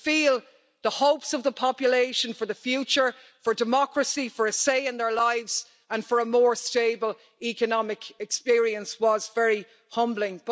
To feel the hopes of the population for the future, for democracy, for a say in their lives and for a more stable economic experience was very humbling.